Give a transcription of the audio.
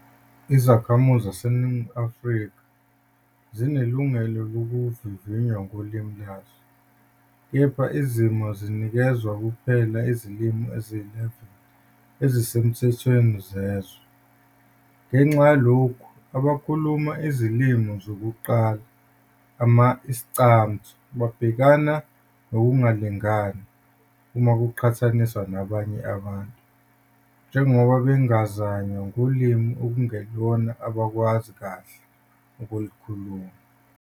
Izakhamizi zaseNingizimu Afrika zinelungelo lokuvivinywa ngolimi lwazo, kepha izimo zinikezwa kuphela izilimi eziyi-11 ezisemthethweni zezwe. Ngenxa yalokho, abakhuluma izilimi zokuqala ama-Iscamtho babhekana nokungalingani uma kuqhathaniswa nabanye abantu, njengoba bengazanywa ngolimi okungelona abalwazi kahle kakhulu.